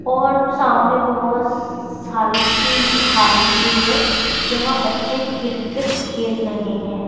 और सामने बहुत सारी फील्ड खाली हुई है जहाँ बच्चे क्रिकेट खेल रहे हैं।